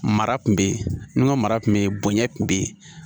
Mara kun bɛ yen n ka mara kun bɛ yen bonɲɛ tun bɛ yen